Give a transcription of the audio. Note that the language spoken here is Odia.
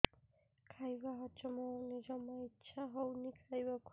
ଖାଇବା ହଜମ ହଉନି ଜମା ଇଛା ହଉନି ଖାଇବାକୁ